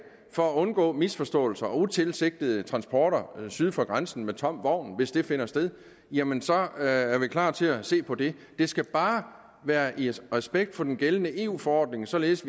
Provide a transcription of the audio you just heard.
for at undgå misforståelser og utilsigtede transporter syd for grænsen med tom vogn hvis det finder sted jamen så er vi klar til at se på det det skal bare være i respekt for den gældende eu forordning således